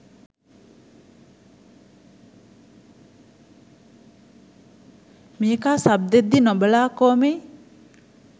මේකා සබ් දෙද්දී නොබලා කෝමෙයි.